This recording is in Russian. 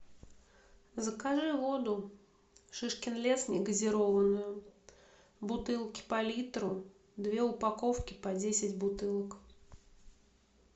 закажи воду шишкин лес негазированную бутылки по литру две упаковки по десять бутылок